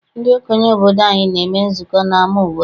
Ndị okenye obodo anyị na-eme nzukọ n'ama obodo.